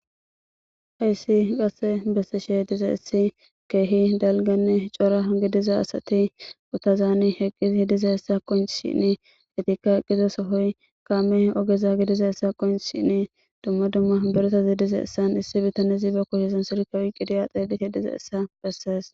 Hayssi qase bessishe dizayssi kehi dalgane cora gidiza asati ogezan eqqidi dizayssi qoncishin izeti eqida soho kaame oge gididaysi qonccishin dumma dumma asati dizaysane issi bitanezi silke oyqidi dizayssa besses.